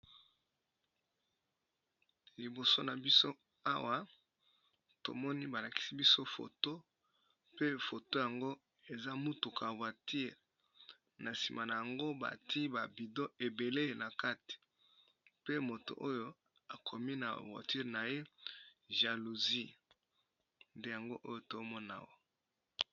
Liboso na biso awa tomoni ba lakisi biso foto pe foto yango eza mutuka voiture, na nsima nango bati ba bidon ebele na kati pe moto oyo akomi na voiture na ye jalousie nde yango oyo tomona awa.